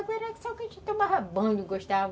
Na água era só o que a gente tomava banho, gostava.